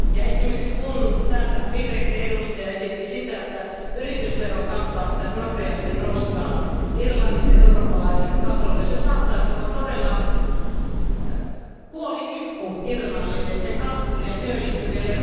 Esimerkiksi kun täällä vihreiden edustaja esitti, että yritysverokantaa pitäisi nopeasti nostaa Irlannissa eurooppalaiselle tasolle, niin se saattaisi olla todella kuolinisku Irlannille, sen kasvulle ja työllisyydelle.